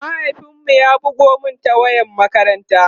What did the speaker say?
mahaifin mu ya bugo Mani ta wayar makaranta